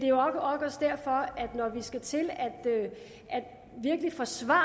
jo nok også derfor at når vi skal til virkelig at forsvare